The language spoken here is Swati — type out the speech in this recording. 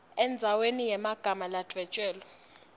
endzaweni yemagama ladvwetjelwe